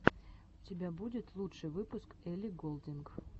у тебя будет лучший выпуск элли голдинг